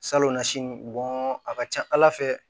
Salonnasi a ka ca ala fɛ